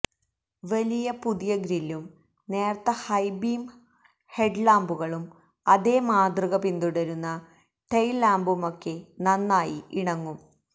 വലിയ പുതിയ ഗ്രില്ലും നേർത്ത ഹൈ ബീം ഹെഡ്ലാംപുകളും അതേ മാതൃക പിന്തുടരുന്ന ടെയ്ൽ ലാംപുമൊക്കെ നന്നായി ഇണങ്ങും